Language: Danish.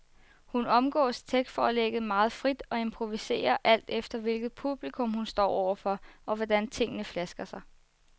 Hun omgås tekstforlægget meget frit og improviserer, alt efter hvilket publikum hun står over for, og hvordan tingene flasker sig.